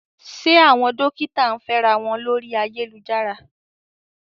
Ṣé àwọn dókítà ń fẹ́ra wọn lórí ayélujára?